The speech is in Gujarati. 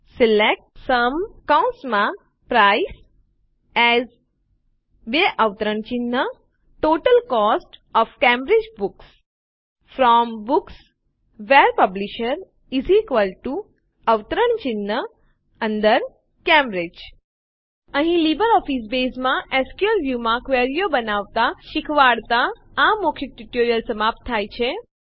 select AS total cost OF Cambridge books from books where publisher Cambridge અહીં લીબરઓફીસ બેઝમાં એસક્યુએલ Viewમાં ક્વેરીઓ બનાવતાં શીખવાડતાં આ મૌખિક ટ્યુટોરીયલ સમાપ્ત થાય છે